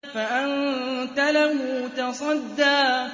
فَأَنتَ لَهُ تَصَدَّىٰ